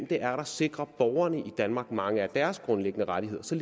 det er der sikrer borgerne i danmark mange af deres grundlæggende rettigheder så